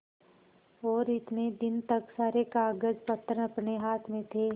और इतने दिन तक सारे कागजपत्र अपने हाथ में थे